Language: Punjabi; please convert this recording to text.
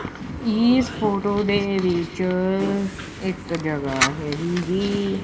ਇਹ ਫੋਟੋ ਦੇ ਵਿੱਚ ਇੱਕ ਜਗਾਹ ਹੈਗੀ ਜੀ।